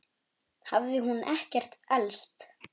Þá hafði hún ekkert elst.